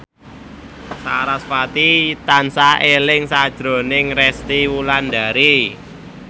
sarasvati tansah eling sakjroning Resty Wulandari